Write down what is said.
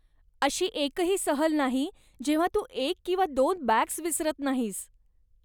अशी एकही सहल नाही जेव्हां तू एक किंवा दोन बॅग्स विसरत नाहीस.